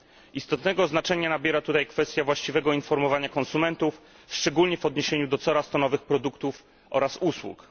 Istotnego znaczenia nabiera tutaj kwestia właściwego informowania konsumentów, szczególnie w odniesieniu do coraz to nowych produktów oraz usług.